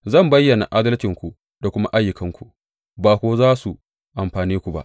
Zan bayyana adalcinku da kuma ayyukanku, ba kuwa za su amfane ku ba.